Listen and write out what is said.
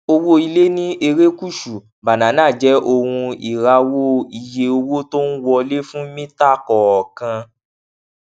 owó ilè ní erékùṣù banana jé ohun ìràwò iye owó tó ń wọlé fún mítà kòòkan